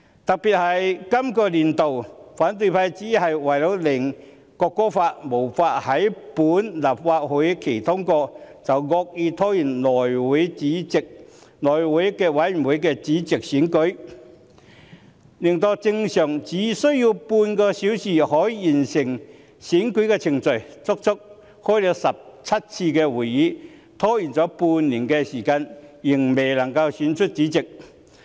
特別是本年度，反對派只是為了令《國歌條例草案》無法於本會期通過，便惡意拖延內務委員會的主席選舉，令正常只需要半個小時便可完成的選舉程序，拖延半年的時間，足足舉行了17次會議，仍未能夠選出主席。